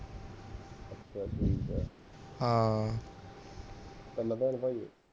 ਤਿੰਨ ਭੈਣ ਭਾਈ ਹੋ